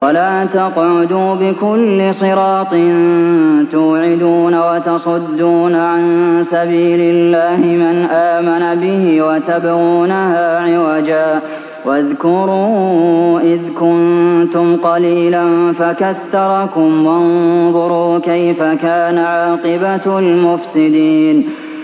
وَلَا تَقْعُدُوا بِكُلِّ صِرَاطٍ تُوعِدُونَ وَتَصُدُّونَ عَن سَبِيلِ اللَّهِ مَنْ آمَنَ بِهِ وَتَبْغُونَهَا عِوَجًا ۚ وَاذْكُرُوا إِذْ كُنتُمْ قَلِيلًا فَكَثَّرَكُمْ ۖ وَانظُرُوا كَيْفَ كَانَ عَاقِبَةُ الْمُفْسِدِينَ